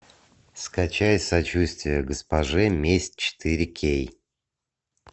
скачай сочувствие госпоже месть четыре кей